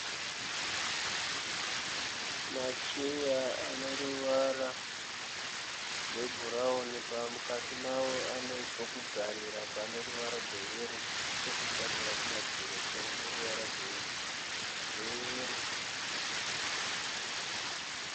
Macheya ane ruvara gwebhurawuni mukati mawo anepokugarira pane ruvara gweyero nechokutsamhira kumadziro chine ruvara gweyero.